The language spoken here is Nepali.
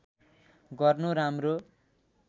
गर्नु राम्रो